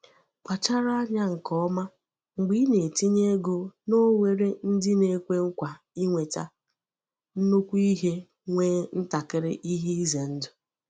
Kpachara anya nke ọma mgbe ị na-etinye ego n'ohere ndị na-ekwe nkwa inweta nnukwu ihe nwee ntakịrị ihe ize ndụ.